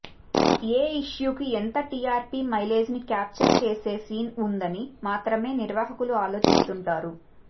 ఏ ఇష్యూకి ఎంత టీఆర్పీ మైలేజ్ని క్యాప్చర్ చేసే సీన్ వుందని మాత్రమే నిర్వాహకులు ఆలోచిస్తుంటారు